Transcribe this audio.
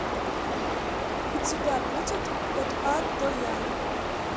у тебя будет от а до я